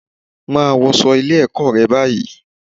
Máa wọṣọ́ Ilé-ẹ̀kọ́ rẹ báyìí